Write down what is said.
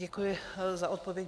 Děkuji za odpověď.